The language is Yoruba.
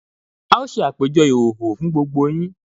A ó ṣe àpèjọ ìhòòhò fún gbogbo yín